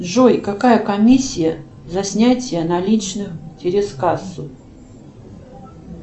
джой какая комиссия за снятие наличных через кассу